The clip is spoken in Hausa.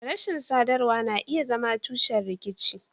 Rashin sadarwa na iya zama tushen rikici.